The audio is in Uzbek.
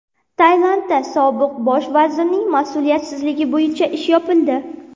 Tailandda sobiq bosh vazirning mas’uliyatsizligi bo‘yicha ish yopildi.